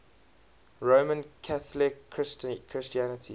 roman catholic christianity